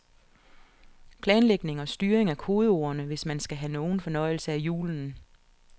Planlægning og styring er kodeordene, hvis man skal have nogen fornøjelse af julen.